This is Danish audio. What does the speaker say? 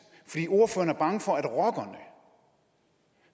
fordi ordføreren er bange for at rockerne